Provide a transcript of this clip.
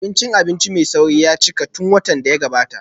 Abincin abinci mai sauri ya cika tun watan da ya gabata